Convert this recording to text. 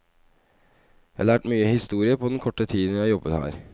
Jeg har lært mye historie på den korte tiden jeg har jobbet her.